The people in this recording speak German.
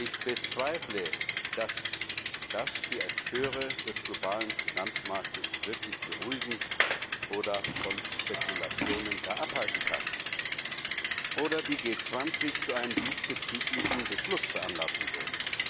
Ich bezweifle, dass das die Akteure des globalen Finanzmarktes wirklich beruhigen oder von Spekulationen gar abhalten kann oder die G 20 zu einem diesbezüglichen Beschluss veranlassen wird.